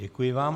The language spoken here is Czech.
Děkuji vám.